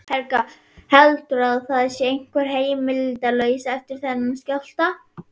Helga: Heldurðu að það sé einhver heimilislaus eftir þennan skjálfta?